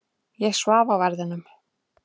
Ég svaf á verðinum.